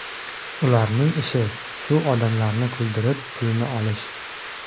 Ularning ishi shu odamlarni kuldirib, pulini olish.